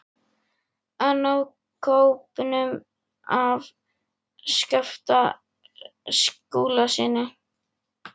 AÐ NÁ KÓPNUM AF SKAPTA SKÚLASYNI.